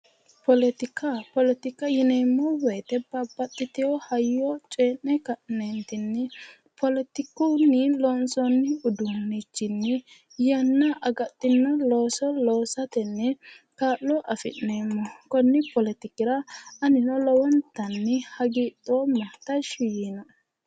Poletika poletika yineemmo woyiite, babbaxxiteyo hayyo coyii'ne ka'neentinni poletikunni loonsoonni uduunnichinni yanna agadhino looso loosatenni kaa'lo afi'neemmo. konni poletikira anino lowontanni hagiidhooma tashsshi yiino"e.